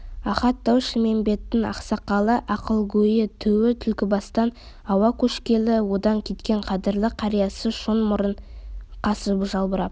ахат тау-шілмембеттің ақсақалы ақылгөйі түу түлкібастан ауа көшкелі одан кеткен қадірлі қариясы шоң мұрын қасы жалбырап